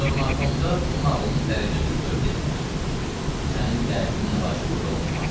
Sovnarkomda bunun ağlının dərəcəsini görüb dedilər: "Sənin dərdinin əlacı burda olunmaz.